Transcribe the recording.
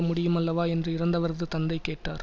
முடியுமல்லவா என்று இறந்தவரது தந்தை கேட்டார்